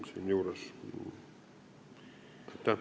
Aitäh!